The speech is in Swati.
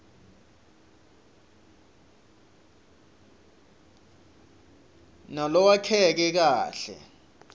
nalolwakheke kahle